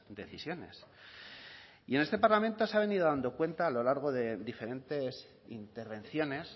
decisiones y en este parlamento se ha venido dando cuenta a lo largo de diferentes intervenciones